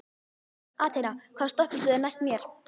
Athena, hvaða stoppistöð er næst mér?